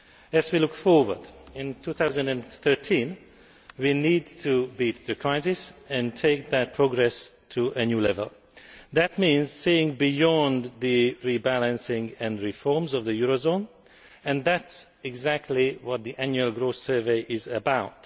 As we look forward in 2013 we need to beat the crisis and take that progress to a new level. That means seeing beyond the rebalancing and reform of the eurozone, and that is exactly what the Annual Growth Survey is about.